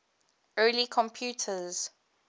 early computers